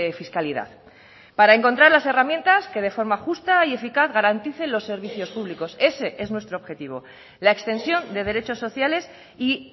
fiscalidad para encontrar las herramientas que de forma justa y eficaz garantice los servicios públicos ese es nuestro objetivo la extensión de derechos sociales y